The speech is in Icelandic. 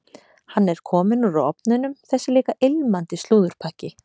Hann er kominn úr ofninum, þessi líka ilmandi slúðurpakki.